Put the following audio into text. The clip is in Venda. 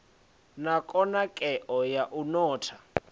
na khonadzeo ya u notha